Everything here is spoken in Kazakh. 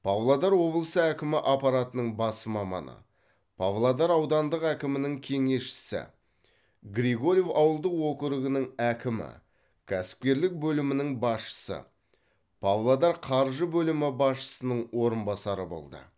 павлодар облысы әкімі аппаратының бас маманы павлодар аудандық әкімінің кеңесшісі григорьев ауылдық округінің әкімі кәсіпкерлік бөлімінің басшысы павлодар қаржы бөлімі басшысының орынбасары болды